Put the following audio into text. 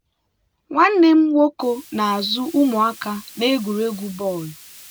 nwanne m nwoke na-azụ ụmụaka n'egwuregwu bọọlụ.